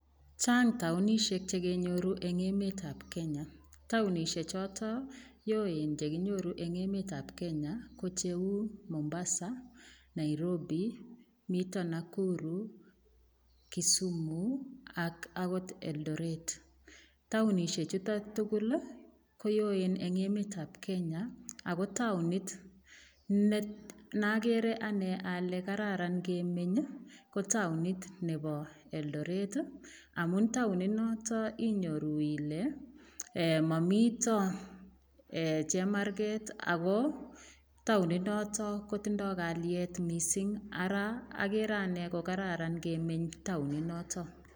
Chang taonishek chekenyoru eng emet ab Kenya taonishe choto yoen chekinyoru eng emet ab Kenya ko cheu Mombasa Nairobi mito Nakuru Kisumu ak akot Eldoret taonishe chuto tugul koyoen eng emet ab Kenya ako taonit nakere ane ale kararan kemeny ko taonit nebo Eldoret amun taoninoto inyoru ile mamito chemarget ako taoninoto kotindoi kalyet mising ara akere ane kokararan kemeny taoninoto.